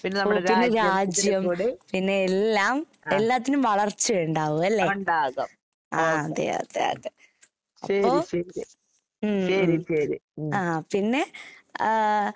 ഓ പിന്നെ രാജ്യം പിന്നെയെല്ലാം എല്ലാറ്റിനും വളർച്ചയൊണ്ടാകും അല്ലേ? അതെയതെയതെ. അപ്പൊ ഉം ആഹ് പിന്നെ ആഹ്